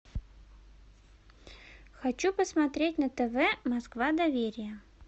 хочу посмотреть на тв москва доверия